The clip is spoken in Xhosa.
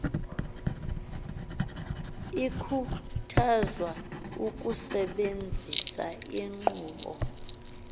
ikhuthazwa ukusebenzisa inkqubo